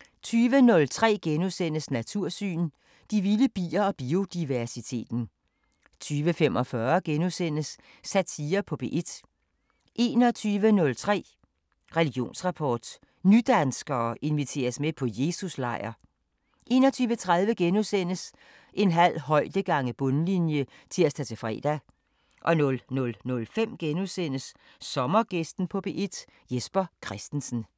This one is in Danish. * 20:03: Natursyn: De vilde bier og biodiversiteten * 20:45: Satire på P1 * 21:03: Religionsrapport: Nydanskere inviteres med på Jesus-lejr 21:30: En halv højde gange bundlinje *(tir-fre) 00:05: Sommergæsten på P1: Jesper Christensen *